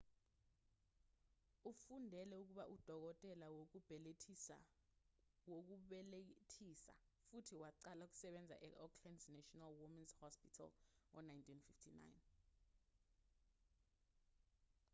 ufundele ukuba udokotela wokubelethisa futhi waqala ukusebenza e-auckland's national womens's hospital ngo-1959